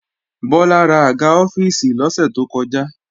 Bọ́lá rà àga ọ́fíìsì lọ́sẹ̀ tó kọjá